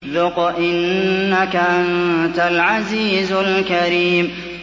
ذُقْ إِنَّكَ أَنتَ الْعَزِيزُ الْكَرِيمُ